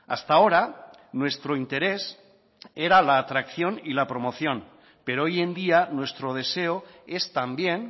hasta ahora nuestro interés era la atracción y la promoción pero hoy en día nuestro deseo es también